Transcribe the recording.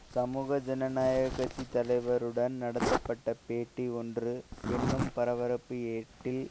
சமூக ஜனநாயக கட்சி தலைவருடன் நடத்தப்பட்ட பேட்டி ஒன்று என்னும் பரபரப்பு ஏட்டில்